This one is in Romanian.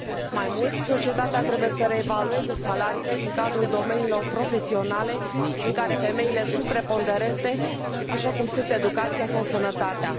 Mai mult, societatea trebuie să reevalueze salariile din cadrul domeniilor profesionale în care femeile sunt preponderente, așa cum sunt educația sau sănătatea.